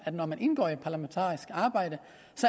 at når man indgår i et parlamentarisk arbejde